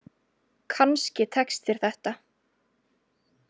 Kannski tekst þér þetta.